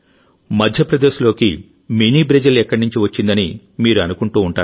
మధ్యప్రదేశ్లోకి mini Brazil ఎక్కడి నుంచి వచ్చిందని మీరు అనుకుంటూ ఉంటారు